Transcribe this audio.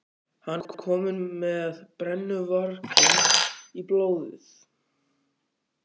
Hann er kominn með brennuvarginn í blóðið!